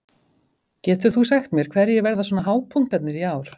Getur þú sagt mér hverjir verða svona hápunktarnir í ár?